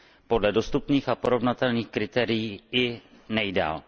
Podle dostupných a porovnatelných kritérií i nejdále.